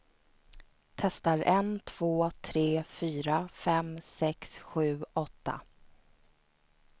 Testar en två tre fyra fem sex sju åtta.